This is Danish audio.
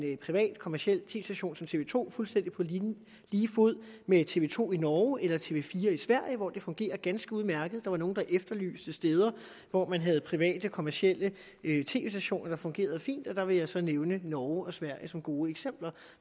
privat kommerciel station som tv to fuldstændig på lige fod med tv to i norge eller tv fire i sverige hvor det fungerer ganske udmærket der var nogle der efterlyste steder hvor man har private kommercielle tv stationer der fungerer fint og der vil jeg så nævne norge og sverige som gode eksempler